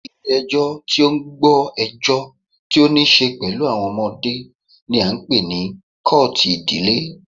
Ilé ẹjọ́ tí o ń gbọ́ ẹjọ́ tí o níṣe pẹlú àwọn ọmọdé ní a ń pé ní kọ́ọ̀tù ìdílé.